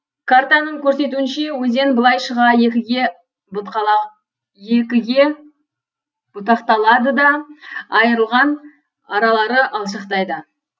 картаның көрсетуінше өзен былай шыға екіге бұтақталады да айрылған аралары алшақтайды